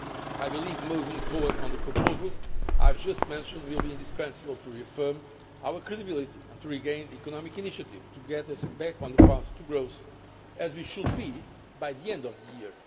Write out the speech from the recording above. I believe moving forward on the proposals I have just mentioned will be indispensable to reaffirming our credibility and to regaining the economic initiative, to getting us back on the path to growth as we should be by the end of the year.